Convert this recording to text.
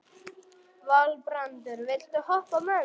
Valbrandur, viltu hoppa með mér?